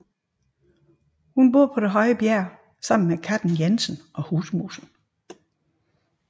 Hun bor på Det høje bjerg sammen med Katten Jensen og Husmusen